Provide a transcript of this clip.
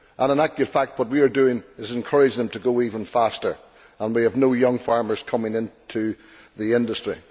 In actual fact, what we are doing is to encourage them to go even faster, and we have no young farmers coming into the industry.